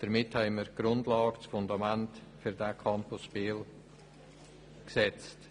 Damit haben wir die Grundlage für den Campus Biel gesetzt.